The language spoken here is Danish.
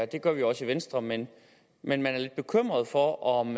det gør vi også i venstre men at man er lidt bekymret for om